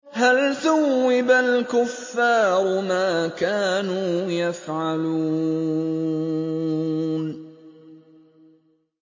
هَلْ ثُوِّبَ الْكُفَّارُ مَا كَانُوا يَفْعَلُونَ